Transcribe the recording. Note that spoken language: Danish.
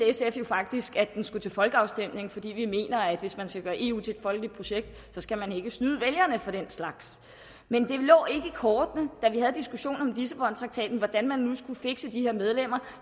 sf jo faktisk at den skulle til folkeafstemning fordi vi mener at hvis man skal gøre eu til et folkeligt projekt skal man ikke snyde vælgerne for den slags men det lå ikke i kortene da vi havde diskussionen om lissabontraktaten hvordan man nu skulle fikse de her medlemmer